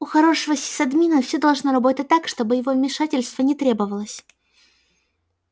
у хорошего сисадмина все должно работать так чтобы его вмешательство не требовалось